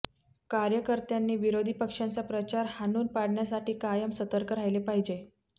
कार्यकर्त्यांनी विरोधी पक्षांचा प्रचार हाणून पाडण्यासाठी कायम सतर्क राहिले पाहिजे